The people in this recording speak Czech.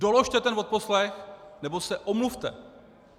Doložte ten odposlech, nebo se omluvte!